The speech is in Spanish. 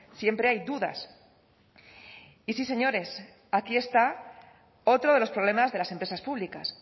siempre hay dudas y sí señores aquí está otro de los problemas de las empresas públicas